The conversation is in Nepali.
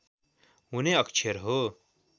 हुने अक्षर हो